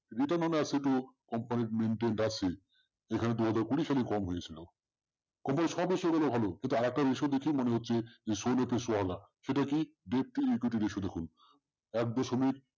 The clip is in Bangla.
company maintain আছে, যেখানে দুই হাজার কুরি সালে কম হয়ে ছিল, সবই এ সবেতে ভালো আরেকটা ratio দেখে মনে হচ্ছে সেটা কি deeply একটু এসে দেখুন